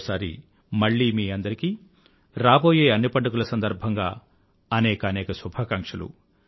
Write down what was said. మరోసారి మళ్ళీ మీ అందరికీ రాబోయే అన్ని పండుగల సందర్భంగా అనేకానేక శుభాకాంక్షలు